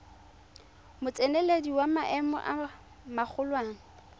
motseneledi wa maemo a magolwane